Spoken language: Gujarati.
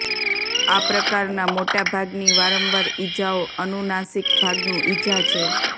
આ પ્રકારના મોટા ભાગની વારંવાર ઇજાઓ અનુનાસિક ભાગનું ઇજા છે